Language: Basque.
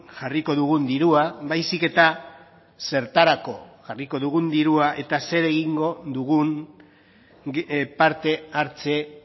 jarriko dugun dirua baizik eta zertarako jarriko dugun dirua eta zer egingo dugun parte hartze